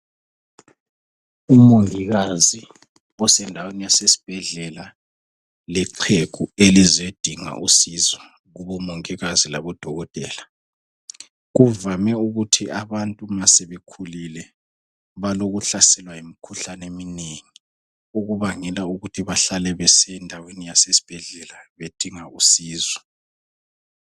Umongikazi osendaweni yasesibhedlela lexhegu elizondinga usizo kumongikazi labodokotela. Kuvame ukuthi bantu nxa sebekhulile balokuhlaselwa yimikhuhlane eminengi okubangela ukuthi bahlale besiya endaweni yasesibhedlela bedinga usizo.